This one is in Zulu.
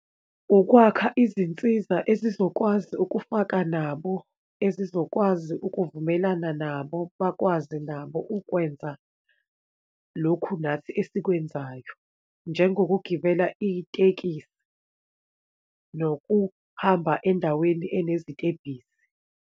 Ukwakha izinsiza ezizokwazi ukufaka nabo, ezizokwazi ukuvumelana nabo, bakwazi nabo ukwenza lokhu nathi esikwenzayo, njengokugibela itekisi nokuhamba endaweni enezitebhisi.